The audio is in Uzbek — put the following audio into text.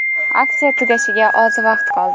Aksiya tugashiga oz vaqt qoldi.